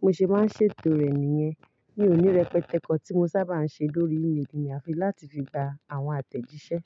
mo ṣe máa ń ṣètò rẹ̀ nìyẹn. Mi òní, rẹpẹtẹ kan tí mo sábà ń ṣe lórí ímeèlì mi, a fi láti fi gba àwọn àtẹ̀jíṣẹ́